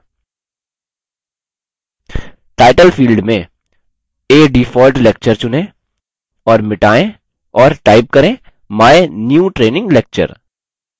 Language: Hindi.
टाइटल field में a default lecture चुनें और मिटायें और type करें my new training lecture